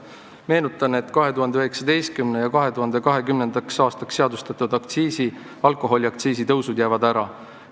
Meenutan, et 2019. ja 2020. aastaks seadustatud alkoholiaktsiisi tõusud jäävad ära.